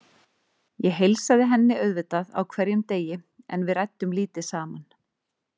Ég heilsaði henni auðvitað á hverjum degi en við ræddum lítið saman.